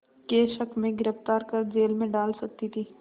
के शक में गिरफ़्तार कर जेल में डाल सकती थी